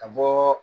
Ka bɔ